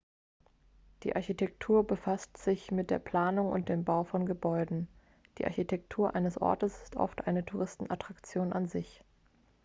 die architektur befasst sich mit der planung und dem bau von gebäuden die architektur eines ortes ist oft eine touristenattraktion an sich